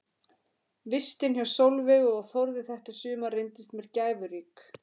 Vistin hjá Sólveigu og Þórði þetta sumar reyndist mér gæfurík.